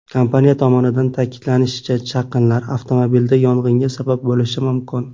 Kompaniya tomonidan ta’kidlanishicha, chaqinlar avtomobilda yong‘inga sabab bo‘lishi mumkin.